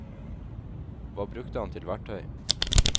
Hva brukte han til verktøy?